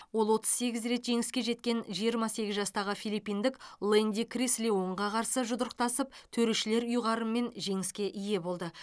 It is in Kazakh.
ол отыз сегіз рет жеңіске жеткен жиырма сегіз жастағы филлипиндік лэнди крис леонға қарсы жұдырықтасып төрешілер ұйғарымымен жеңіске ие болды